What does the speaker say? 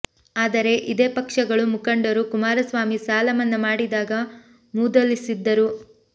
ಆದರೆ ಇದೇ ಪಕ್ಷಗಳು ಮುಖಂಡರು ಕುಮಾರಸ್ವಾಮಿ ಸಾಲ ಮನ್ನಾ ಮಾಡಿದಾಗ ಮೂದಲಿಸಿದ್ದರು